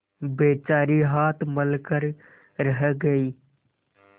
बेचारी हाथ मल कर रह गयी